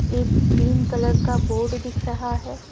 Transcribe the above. एक green colour का board दिख रहा है।